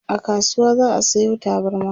a kasuwa za'a Sayo tabarma